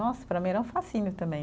Nossa, para mim era um fascínio também.